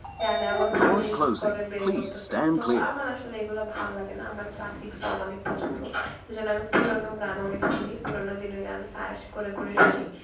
গান এমনভাবে mix করে বের করতেসে তো আমার আসলে এগুলা ভাললাগে না আমার classic song অনেক পছন্দ এজন্য আমি পুরানো গান অনেক শুনি পুরানো দিনের গান search করে করে শুনি